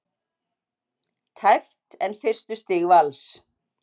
Tæpt en fyrstu stig Vals